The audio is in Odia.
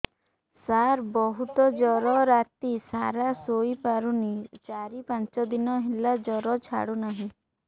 ସାର ବହୁତ ଜର ରାତି ସାରା ଶୋଇପାରୁନି ଚାରି ପାଞ୍ଚ ଦିନ ହେଲା ଜର ଛାଡ଼ୁ ନାହିଁ